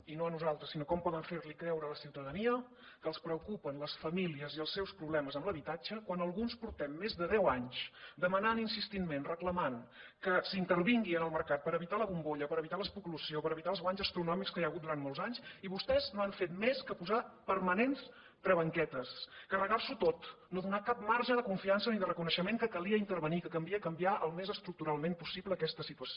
i no a nosaltres sinó com poden fer li creure a la ciutadania que els preocupen les famílies i els seus problemes amb l’habitatge quan alguns portem més de deu anys demanant insistentment reclamant que s’intervingui en el mercat per evitar la bombolla per evitar l’especulació per evitar els guanys astronòmics que hi ha hagut durant molts anys i vostès no han fet més que posar permanents travetes carregar s’ho tot no donar cap marge de confiança ni de reconeixement que calia intervenir que calia canviar al més estructuralment possible aquesta situació